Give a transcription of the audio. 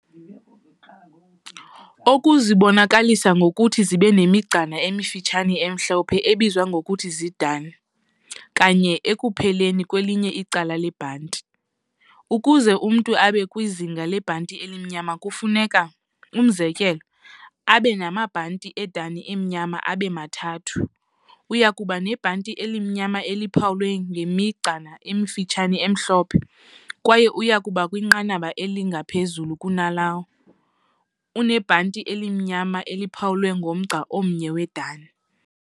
Oku zikubonakalisa ngokuthi zibenemigcana emifutshane emhlophe, ebizwa ngokuba ziiDan, kanye ekupheleni kwelinye icala lebhanti, ukuze umntu abe kwizinga lebhanti elimnyama kufuneka, umzekelo, aben"amabhanti eDan amnyama abema-3" uyakuba nebhanti elimnyama eliphawulwe ngemigcana emifutshane emhlophe, kwaye uyakuba kwinqanaba elingaphezulu kunalowo "unebhanti elimnyama eliphawulwe nmgca omnye weDan ".